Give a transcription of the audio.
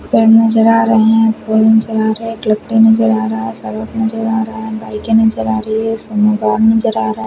पेड़ नजर आ रहे है फ़ोन चला रहे है एक लेपटोप नजर आ रहा है सड़क नजर आ रहा है बाइके आ रही है सब मैदान नजर आ रहा है।